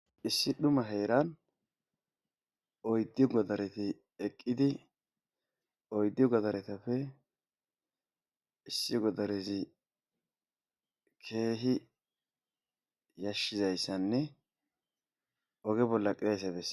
Issi duuma heeran oyyddu goodareti eqqidi oyydattappe issinozi kehi yashshizayssane ogge bolla eqqidayssa besses.